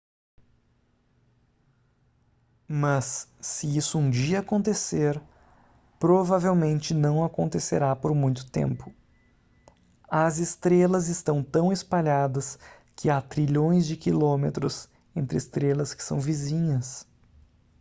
mas se isso um dia acontecer provavelmente não acontecerá por muito tempo as estrelas estão tão espalhadas que há trilhões de quilômetros entre estrelas que são vizinhas